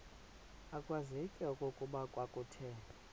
akwazeki okokuba kwakuthe